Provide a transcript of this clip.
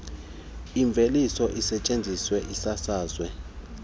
iveliswe isetyenziswe isasazwe